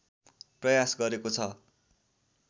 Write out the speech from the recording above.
प्रयास गरेको छ